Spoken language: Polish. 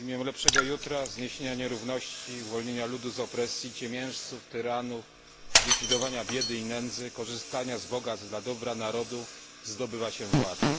W imię lepszego jutra, zniesienia nierówności, uwolnienia ludu z opresji ciemiężców, tyranów, zlikwidowania biedy i nędzy, korzystania z bogactw dla dobra narodu zdobywa się władzę.